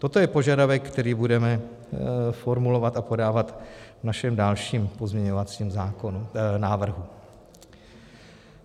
Toto je požadavek, který budeme formulovat a podávat v našem dalším pozměňovacím návrhu.